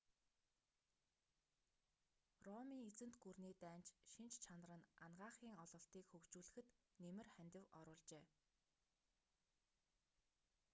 ромын эзэнт гүрний дайнч шинж чанар нь анагаахын ололтыг хөгжүүлэхэд нэмэр хандив оруулжээ